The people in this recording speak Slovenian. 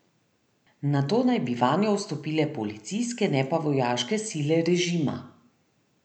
Nato naj bi vanjo vstopile policijske, ne pa vojaške sile režima.